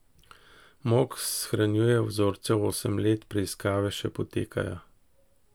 Mok shranjuje vzorcev osem let, preiskave še potekajo.